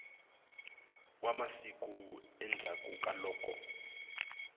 wa masiku endzhaku ka loko